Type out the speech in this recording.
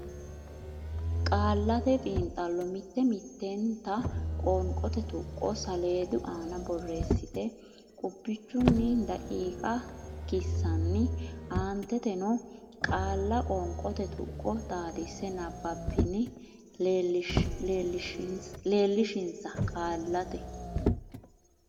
Qaallate Xiinxallo Mitte mittenta qoonqote tuqqo saleedu aana borreessite qubbichunni daqiiqa kissanni aanteteno qaale Qoonqote Tuqqo Xaadisa nabbabbanni leellishinsa Qaallate.